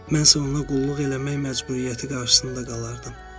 Mənsə ona qulluq eləmək məcburiyyəti qarşısında qalardım.